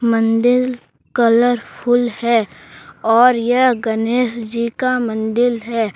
मंदिल कलरफुल है और यह गणेश जी का मंदिल है।